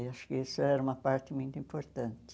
Eu acho que isso era uma parte muito importante.